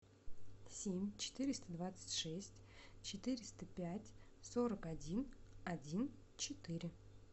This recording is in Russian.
семь четыреста двадцать шесть четыреста пять сорок один один четыре